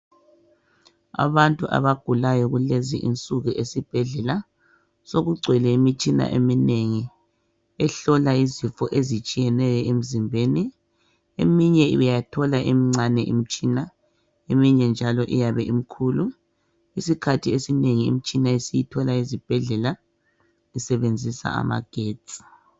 Abantu abagulayo kulezi insuku esibhedlela sekugcwele imitshina eminengi ehlola izifo ezitshiyeneyo emzimbeni eminye uyathola imncane imtshina eminye njalo iyabe imkhulu iskhathi esinengi imitshina esiyithola ezibhedlela isebenzisa amagetsi